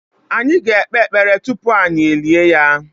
Anyị ga-ekpe ekpere tupu anyị e lie ya.